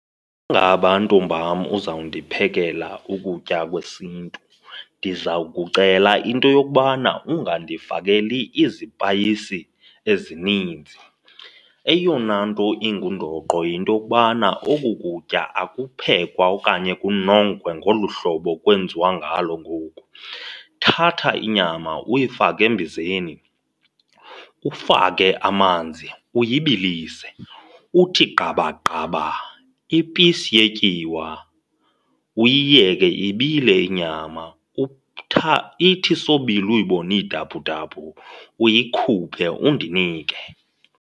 ntombam uzawundiphekela ukutya kwesiNtu, ndiza kucela into yokubana ungandifakeli izipayisi ezininzi. Eyona nto ingundoqo yinto yokubana oku kutya aphekwa okanye kunongwe ngolu hlobo kwenziwa ngalo ngoku. Thatha inyama uyifake embizeni, ufake amanzi uyibalisise. Uthi gqaba gqaba ipisi yetyiwa, uyiyeke ibile inyama. Ithi isobila uyibone idabhudabhu, uyikhuphe undinike.